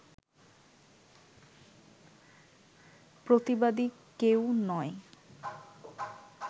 প্রতিবাদী কেউ নয়